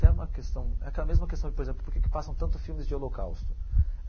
Até uma questão é aquela mesma questão, por exemplo, por que que passam tantos filmes de holocausto?